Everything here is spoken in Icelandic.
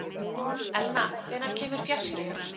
Elna, hvenær kemur fjarkinn?